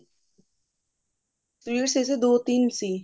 ਸਿਰਫ ਇਸ ਚ ਦੋ ਤਿੰਨ ਸੀ